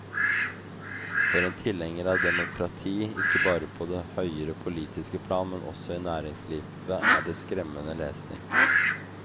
For en tilhenger av demokrati, ikke bare på det høyere politiske plan, men også i næringslivet, er det skremmende lesning.